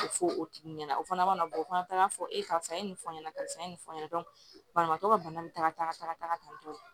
O fɔ o tigi ɲɛna o fana mana bɔ o fana taa ka fɔ e karisa e ye nin fɔ n ɲɛna karisa nin fɔ n ɲɛna banabaatɔ ka bana bɛ taga kan